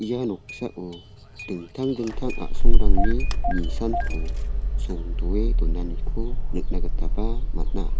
ia noksao dingtang dingtang a·songrangni nisanko songdoe donaniko nikna gitaba man·a.